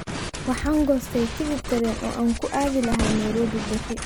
Waxaan goostay tigidh tareen oo aan ku aadi lahaa Nairobi berri